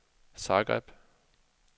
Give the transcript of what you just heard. Zagreb